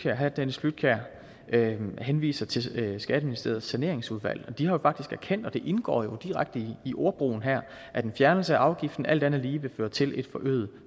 herre dennis flydtkjær henviser til skatteministeriets saneringsudvalg og de har jo faktisk erkendt det indgår jo direkte i ordbrugen her at en fjernelse af afgiften alt andet lige vil føre til et forøget